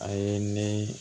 A ye ne